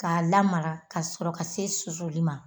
K'a lamaga ka sɔrɔ ka se susuli ma